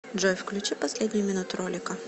джой включи последнюю минуту ролика